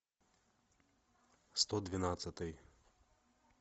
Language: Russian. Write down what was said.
сто двенадцатый